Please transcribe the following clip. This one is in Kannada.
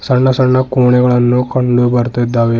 ಸಣ್ಣ ಸಣ್ಣ ಕೊಣೆಗಳನ್ನು ಕಂಡು ಬರ್ತಿದ್ದಾವೆ.